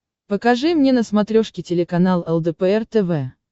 покажи мне на смотрешке телеканал лдпр тв